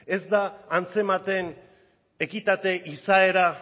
ez da antzematen ekitate izaera